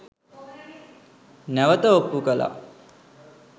නැවත ඔප්පු කලා